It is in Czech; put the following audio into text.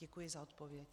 Děkuji za odpověď.